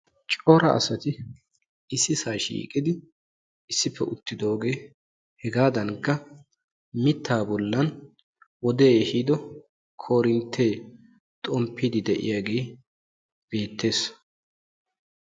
Cora asati issisaa shiiqidi issippe uttidoogee hegaadankka mittaa bollan wodee ehiido korinttee xomppiiddi de'iyagee beettes.